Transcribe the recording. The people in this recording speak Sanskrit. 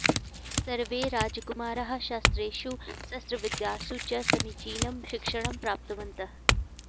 सर्वे राजकुमाराः शास्त्रेषु शस्त्रविद्यासु च समीचीनं शिक्षणं प्राप्तवन्तः